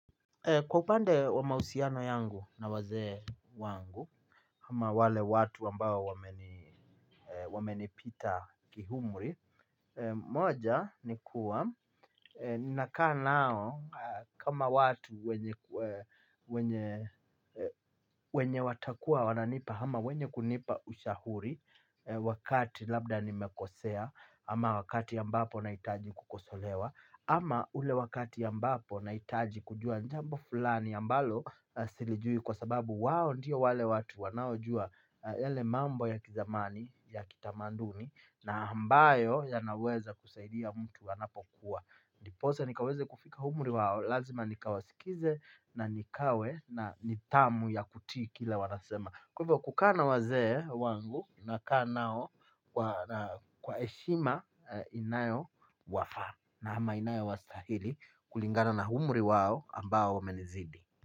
Kwa upande wa mahusiano yangu na wazee wangu hama wale watu ambao wamenipita kiumri. Moja ni kuwa ninakaa nao kama watu wenye wenye watakuwa wananipa hama wenye kunipa ushahuri wakati labda nimekosea ama wakati ambapo nahitaji kukosolewa ama ule wakati ambapo nahitaji kujua jambo fulani ambalo silijui kwa sababu wao ndio wale watu wanaojua yale mambo ya kizamani ya kitamaduni na ambayo ya naweza kusaidia mtu anapokuwa ndiposa nikaweze kufika umri wao lazima nikawasikize na nikawe na nithamu ya kutii kile wanasema. Kwa hivo kukaa na wazee wangu na kaa nao kwa heshima inayo wafaa na ama inayo wastahili kulingana na humri wao ambao wamenizidi.